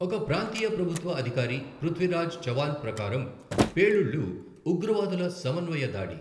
ఒక ప్రాంతీయ ప్రభుత్వ అధికారి, పృథ్వీరాజ్ చవాన్ ప్రకారం, పేలుళ్లు ఉగ్రవాదుల సమన్వయ దాడి.